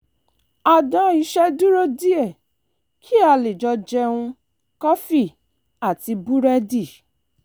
a dá iṣẹ́ dúró díẹ̀ kí a lè jọ jẹun kọfí àti búrẹ́dì